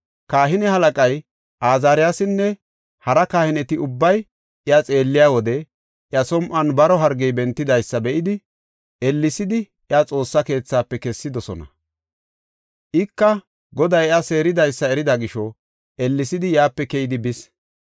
Kahine halaqay Azaariyasinne hara kahineti ubbay iya xeelliya wode iya som7on baro hargey bentidaysa be7idi, ellesidi iya Xoossa keethafe kessidosona. Ika Goday iya seeridaysa erida gisho ellesidi yaape keyidi bis.